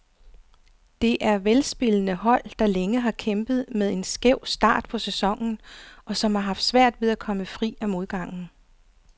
Det er velspillende hold, der længe har kæmpet med en skæv start på sæsonen, og som har haft svært ved at komme fri af modgangen.